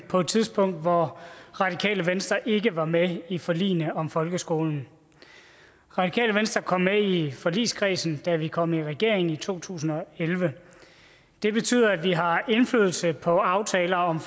på et tidspunkt hvor radikale venstre ikke var med i forligene om folkeskolen radikale venstre kom med i forligskredsen da vi kom i regering i to tusind og elleve det betyder at vi har indflydelse på aftaler om